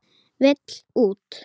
Vill út.